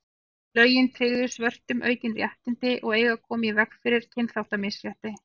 lögin tryggðu svörtum aukin réttindi og eiga að koma í veg fyrir kynþáttamisrétti